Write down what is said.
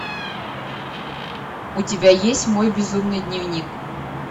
у тебя есть мой безумный дневник